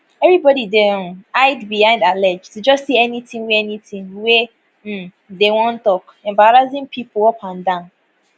evribodi dey um hide behindallegeto just say anytin wey anytin wey um dem wan tok embarrassing pipo upandan